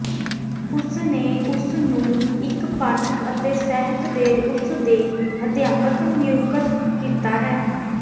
ਉਸ ਨੇ ਉਸ ਨੂੰ ਇੱਕ ਪਾਠਕ ਅਤੇ ਸਾਹਿਤ ਦੇ ਉਸ ਦੇ ਅਧਿਆਪਕ ਨਿਯੁਕਤ ਕੀਤਾ ਹੈ